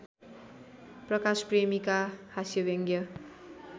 प्रकाश प्रेमीका हास्यव्यङ्ग्य